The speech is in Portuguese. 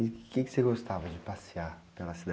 E o quê que você gostava de passear pela cidade?